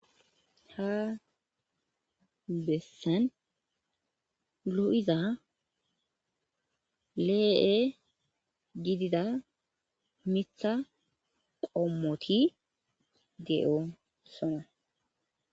Ha bessan lo'iza le'e gidida miththa qommoti de'osona.